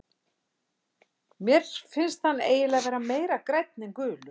Mér finnst hann eiginlega vera meira grænn en gulur.